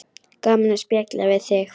Gaman að spjalla við þig.